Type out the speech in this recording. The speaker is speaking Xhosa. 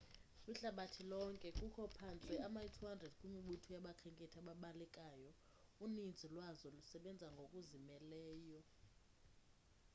kwihlabathi lonke kukho phantse ama-200 kwimibutho yabakhenkethi ebalekayo uninzi lwazo lusebenza ngokuzimeleyo